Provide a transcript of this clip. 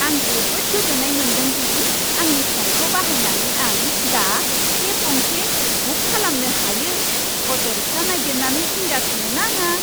आं जोबोद गोजोननाय मोनदों दि आंनि फ'नखौ बाहायनानै आं दा केब गंसे बुक खालामनो हायो, अट'रिक्शा नागिरनानै जिंगा सिनो नाङा।